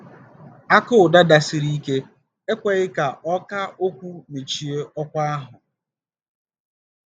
Aka ụda dasịrị ike ekweghị ka ọkà okwu mechie ọkwa ahụ.